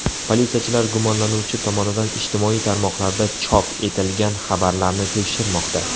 Politsiyachilar gumonlanuvchi tomonidan ijtimoiy tarmoqlarda chop etilgan xabarlarni tekshirmoqda.